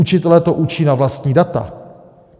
Učitelé to učí na vlastní data!